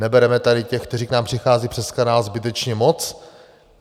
Nebereme tady těch, kteří k nám přichází přes kanál, zbytečně moc?